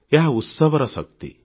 ଏହା ଉତ୍ସବର ଶକ୍ତି